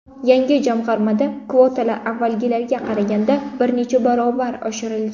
Yangi jamg‘armada kvotalar avvalgilarga qaraganda bir necha barobar oshirilgan.